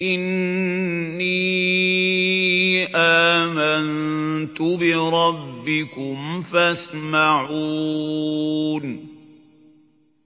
إِنِّي آمَنتُ بِرَبِّكُمْ فَاسْمَعُونِ